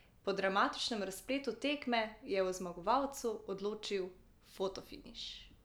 Po dramatičnem razpletu tekme je o zmagovalcu odločil fotofiniš.